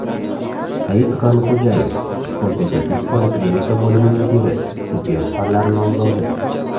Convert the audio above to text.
Said G‘anixo‘jayev, Konsultativ poliklinika bo‘limi mudiri, tibbiyot fanlari nomzodi.